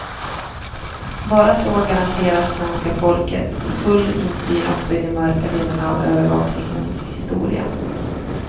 Bara så garanteras svenska folket full insyn också i de mörka delarna av övervakningens historia.